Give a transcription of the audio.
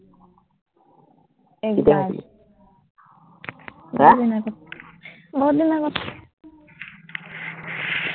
বহুতদিন আগত